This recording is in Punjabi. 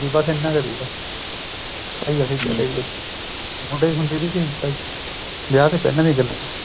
ਤੇ ਵੀ ਬੱਸ ਏਨਾ ਕ ਸੀਗਾ ਭਾਈ ਅੱਸੀ ਚੱਲੇ ਗਏ ਮੁੰਡੇ ਖੁੱਡੇ ਸੀਗੇ ਵਿਆਹ ਤੇ ਪਹਿਲਾਂ ਦੀਆ ਗੱਲਾਂ